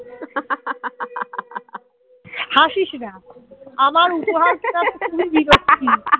হাসিস না আমার উপহারটা খুবই বিরক্তি